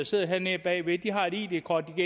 sidder hernede bagved har et id kort